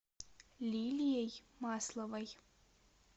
лилией масловой